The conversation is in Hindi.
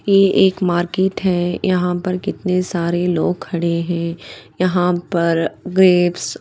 ये एक मार्केट है यहाँ पर कितने सारे लोग खड़े है यहाँ पर ग्रेप्स --